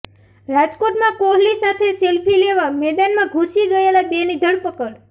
રાજકોટમાં કોહલી સાથે સેલ્ફી લેવા મેદાનમાં ઘૂસી ગયેલા બેની ધરપકડ